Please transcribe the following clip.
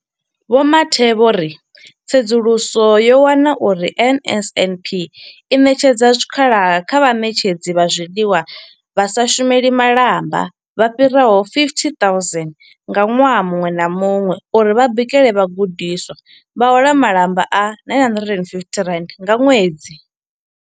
Vho Mathe vho ri tsedzuluso yo wana uri NSNP i ṋetshedza zwikhala kha vhaṋetshedzi vha zwiḽiwa vha sa shumeli malamba vha fhiraho 50 000 ṅwaha muṅwe na muṅwe uri vha bikele vhagudiswa, vha hola malamba a R960 nga ṅwedzi.